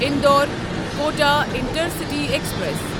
Indore Kota intercity express